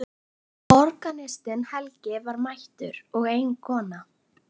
Organistinn Helgi var mættur og ein kona.